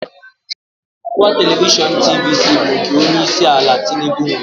Ọwa telivishọn TVC bụ nke Onye isi ala Tinubu nwe ya.